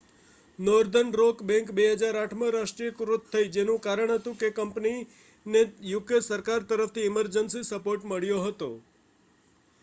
northern rock bank 2008માં રાષ્ટ્રીયકૃત થઈ જેનું કારણ હતું કે કંપનીને યુકે સરકાર તરફથી ઇમર્જન્સી સપોર્ટ મળ્યો હતો